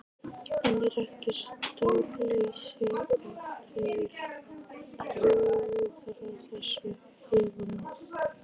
En er ekki stórslys ef þeir klúðra þessu héðan af?